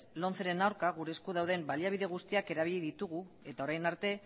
lomceren aurka gure esku dauden baliabide guztiak erabili ditugu orain arte